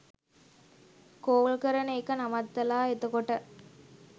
Call කරන එක නවත්තලා එතකොට.